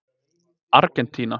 Argentína